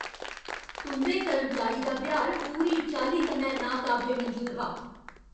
तुं'दे कर्मचारी दा ब्यहार पूरी चाल्ली कन्नै नाकाबले मंजूर हा।